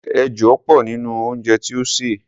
ẹja pọ̀ nínú ounjẹ tí o sè.